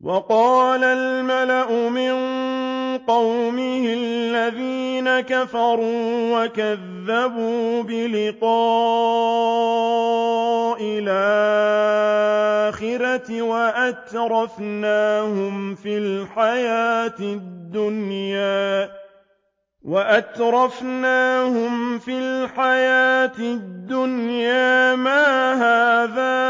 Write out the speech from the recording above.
وَقَالَ الْمَلَأُ مِن قَوْمِهِ الَّذِينَ كَفَرُوا وَكَذَّبُوا بِلِقَاءِ الْآخِرَةِ وَأَتْرَفْنَاهُمْ فِي الْحَيَاةِ الدُّنْيَا مَا هَٰذَا